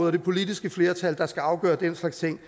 og det politiske flertal der skal afgøre den slags ting